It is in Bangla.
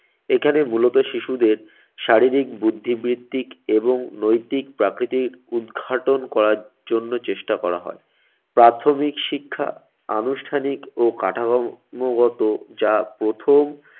এখানে মূলত শিশুদের শারীরিক বুদ্ধি বৃদ্ধিক এবং নৈতিক প্রাকৃতিক উদ্ঘাটন করার জন্য চেষ্টা করা হয়। প্রাথমিক শিক্ষা আনুষ্ঠানিক ও কাঠামো গত যা প্রথম